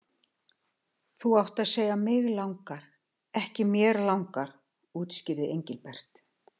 Þú átt að segja mig langar, ekki mér langar útskýrði Engilbert.